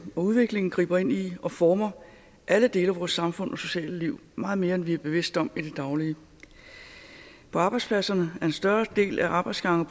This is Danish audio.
og udviklingen griber ind i og former alle dele af vores samfund og sociale liv meget mere end vi er bevidste om i det daglige på arbejdspladserne er en større del af arbejdsgange